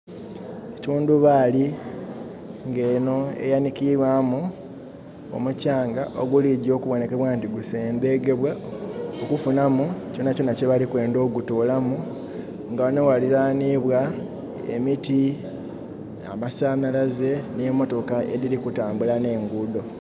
Etundhubali nga enho eyanhikibwamu omukyanga oguligya okuboneka nti gusengedhebwa okufunu kyona kyona kye bali kwendha okugutolamu nga ghanho ghalilanhibwa emiti, amasanalaze ne motoka edhiri kutambula, ne enguudo